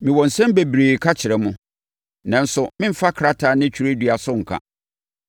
Mewɔ nsɛm bebree ka kyerɛ mo, nanso meremfa krataa ne twerɛdua so nka.